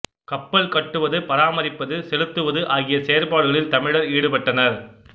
கப்பல் கட்டுவது பராமரிப்பது செலுத்துவது ஆகிய செயற்பாடுகளில் தமிழர் ஈடுபட்டனர்